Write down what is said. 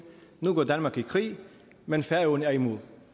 nu går danmark i krig men færøerne er imod